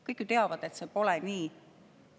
Kõik ju teavad, et see pole nii.